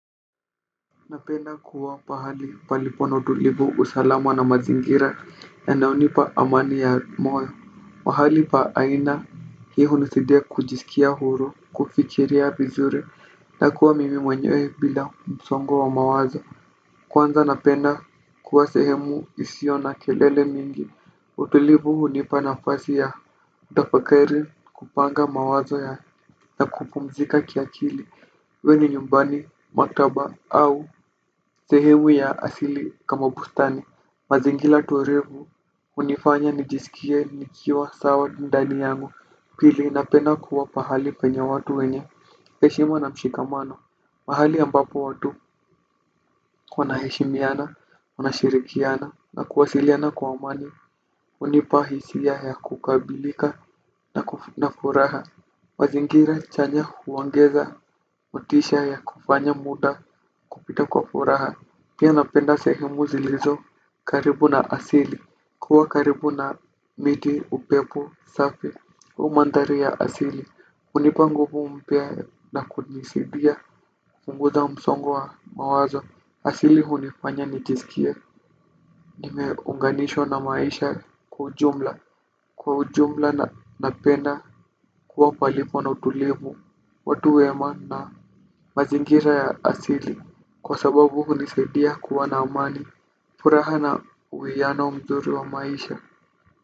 Napenda kuwa pahali palipo na utulivu usalama na mazingira yanayonipa amani ya moyo pahali pa aina hii hunisaidia kujisikia huru, kufikiria vizuri, na kuwa mimi mwenye bila msongo wa mawazo. Kwanza napenda kuwa sehemu isiyo na kelele mingi. Utulivu hunipa nafasi ya kutafakari kupanga mawazo ya na kupumzika kiakili iwe ni nyumbani maktaba au sehemu ya asili kama bustani mazingira tulivu hunifanya nijisikie nikiwa sawa ndani yangu. Pili napenda kuwa pahali penye watu wenye heshima na mshikamano. Mahali ambapo watu wanaheshimiana, wanashirikiana na kuwasiliana kwa amani hunipa hisia ya kukamilika na furaha. Mazingira chanya huongeza motisha ya kufanya muda kupita kwa furaha pia napenda sehemu zilizo karibu na asili kuwa karibu na miti, upepo safi au mandhari ya asili hunipa nguvu mpya na kunisaidia kupunguza msongo wa mawazo asili hunifanya nijisikie nimeunganishwa na maisha kwa ujumla. Kwa ujumla napenda kuwa palipo na utulivu watu wema na mazingira ya asili kwa sababu hunisaidia kuwa na amani. Furaha na uwiano mzuri wa maisha.